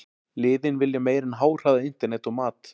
Liðin vilja meira en háhraða internet og mat.